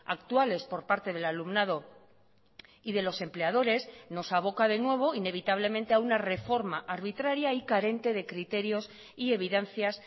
actuales por parte del alumnado y de los empleadores nos avoca de nuevo inevitablemente a una reforma arbitraria y carente de criterios y evidencias